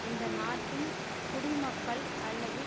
இந்தநாட்டின் குடிமக்கள் அல்லது